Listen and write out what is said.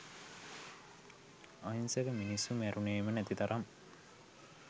අහිංසක මිනිස්සු මැරුණෙම නැති තරම්.